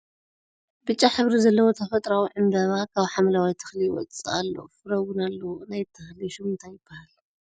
ብጫ ሕብሪ ዘለዎ ተፈጥርኣዊ ዕምበባ ካብ ሓምለዋይ ተኽሊ ይወፅእ ኣሎ ፍረ እውን ኣለዎ ። ናይቲ ትኽሊ ሹም እንታይ ይበሃል ?